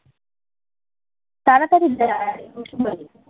তাড়াতাড়ি যে হাই বসে পড়ে